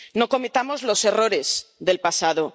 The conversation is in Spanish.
No cometamos los errores del pasado.